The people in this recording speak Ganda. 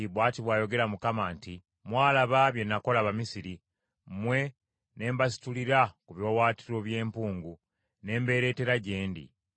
‘Mwalaba bye nakola Abamisiri, mmwe ne mbasitulira ku biwaawaatiro by’empungu n’embeereetera gye ndi.